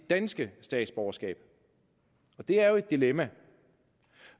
danske statsborgerskab det er jo et dilemma